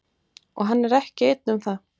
Og hann er ekki einn um það.